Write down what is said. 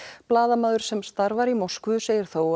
blaðamaður sem starfar í Moskvu segir þó